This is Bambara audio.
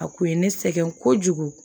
A kun ye ne sɛgɛn kojugu